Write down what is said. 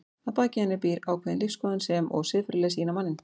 Að baki henni býr ákveðin lífsskoðun sem og siðferðileg sýn á manninn.